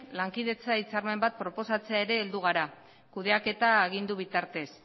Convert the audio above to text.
lankidetza hitzarmen bat proposatzen ere heldu gara kudeaketa agindu bitartez